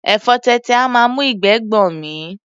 Ẹ̀fọ tètè a máa mú ìgbẹ́ gbọ̀n mí.